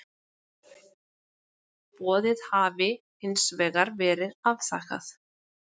Boðið hafi hins vegar verið afþakkað